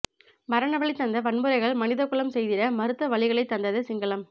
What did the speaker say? மரணவலி தந்த வன்முறைகள் மனிதகுலம் செய்திட மறுத்த வலிகளை தந்தது சிங்களம்